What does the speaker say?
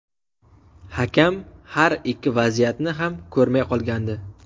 Hakam har ikki vaziyatni ham ko‘rmay qolgandi.